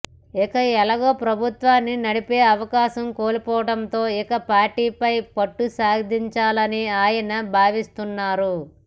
ఇక ఎలాగు ప్రభుత్వాన్ని నడిపే అవకాశం కోల్పోవటంతో ఇక పార్టీపై పట్టుసాధించాలని ఆయన భావిస్తున్నారు